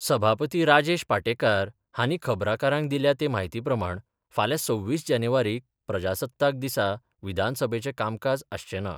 सभापती राजेश पाटेकार हाणीं खबराकारांक दिल्या ते म्हायतीप्रमाण फाल्यां सव्वीस जानेवारीक प्रजासत्ताकदिसा विधानसभेचें कामकाज आसचें ना.